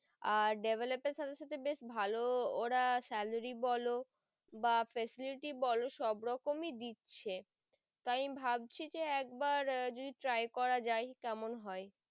আর develop এর সাথে সাথে বেশ ভালোওরা salary বোলো বা facility বোলো সব রকমই দিচ্ছে তাই আমি ভাবছি যে একবার যদি try করা যাই কেমন হয়।